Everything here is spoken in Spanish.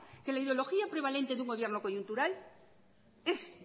que la ideología prevalente de una gobierno coyuntural es